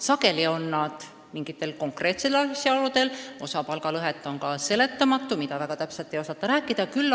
Sageli on need väiksemad mingitel konkreetsetel asjaoludel, aga osa palgalõhesid on ka seletamatud, väga täpselt ei osata neid põhjendada.